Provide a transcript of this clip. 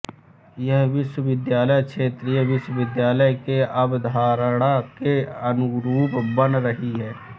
यह विश्वविद्यालय क्षेत्रीय विश्वविद्यालय के अवधारणा के अनुरूप बन रही हैं